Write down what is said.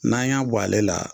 N'an y'an b'ale la